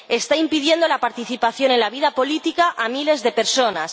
Está impidiendo la participación en la vida política a miles de personas.